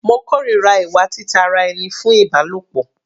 Mo kòrira ìwà tita sí ara ẹni fún Ìbálòpọ̀.